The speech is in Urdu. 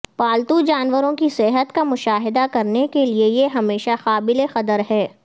پالتو جانوروں کی صحت کا مشاہدہ کرنے کے لئے یہ ہمیشہ قابل قدر ہے